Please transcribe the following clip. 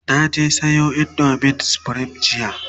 na je Sayo indomin supreme jiya